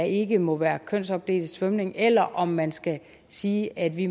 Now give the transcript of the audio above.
ikke må være kønsopdelt svømning eller om man skal sige at vi